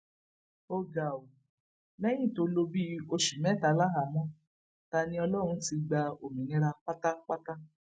ó ga ọ lẹyìn tó lò bíi oṣù mẹta láhàámọ taniọlọrun ti gba òmìnira pátápátá